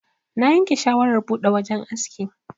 Na yanke shawarar buɗe wajan aski.